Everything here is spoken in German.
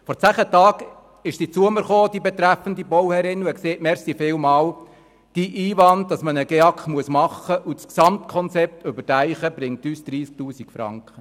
Vor zehn Tagen kam die betreffende Bauherrin zu mir und sagte: «Vielen Dank, dein Einwand, man müsse einen GEAK machen und solle das Gesamtkonzept überdenken, bringt uns 30 000 Franken.